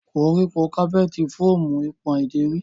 Koriko capeti fọọmu ipon ideri.